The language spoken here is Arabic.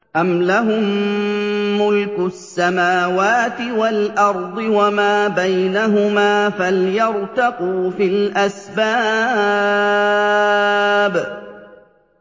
أَمْ لَهُم مُّلْكُ السَّمَاوَاتِ وَالْأَرْضِ وَمَا بَيْنَهُمَا ۖ فَلْيَرْتَقُوا فِي الْأَسْبَابِ